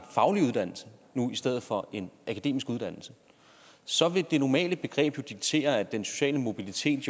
faglig uddannelse i stedet for en akademisk uddannelse så vil det normale begreb jo diktere at den sociale mobilitet